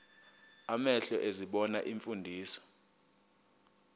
amehlo ezibona iimfundiso